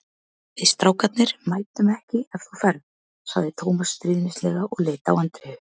Við strákarnir mætum ekki ef þú ferð sagði Tómas stríðnislega og leit á Andreu.